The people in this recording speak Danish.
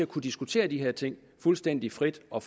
kunne diskutere de her ting fuldstændig frit og